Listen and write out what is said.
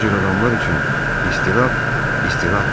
Bu cür adamlar üçün istirap, istirapdır.